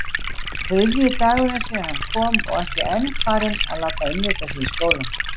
Þriðji dagurinn síðan hann kom og ekki enn farinn að láta innrita sig í skólann.